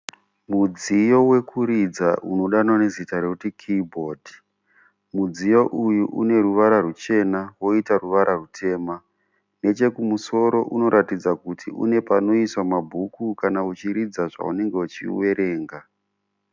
Mudziyo wekuridza unodanwa nezita rekuti kiyi bhodhi. Mudziyo uyu une ruvara rwuchena woita ruvara rwutema. Nechekumusoro unoratidza kuti une panoiswa mabhuku kana uchiridza paunenge uchiverenga.